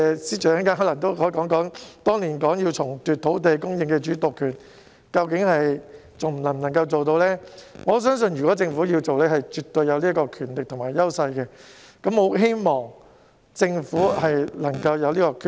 司長稍後可以回應當年表示要重奪土地供應主導權一事究竟還能否做得到，而我相信如果政府有意實行，它絕對有權力和優勢，希望政府能夠下定決心。